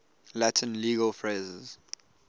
latin legal phrases